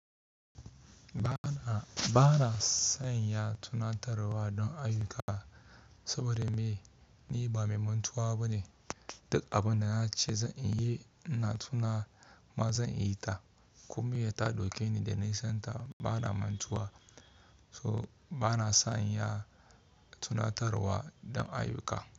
Ba na, ba na sanya tunatar wa don ayuka saboda me? Ni ba mai mantuwa bane. Duk abin da na ce zan yi, ina tuna ma zan yi ta. Komi ya taɗo ke ni da ni santa. Ba na mantuwa, so ba na son ya tunatar wa don ayuka.